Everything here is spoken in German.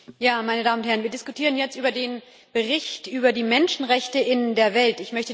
Herr Präsident, meine Damen und Herren! Wir diskutieren jetzt über den Bericht über die Menschenrechte in der Welt.